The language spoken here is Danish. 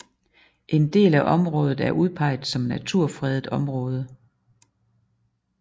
En del af området er udpeget som naturfredet område